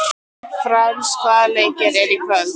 Frans, hvaða leikir eru í kvöld?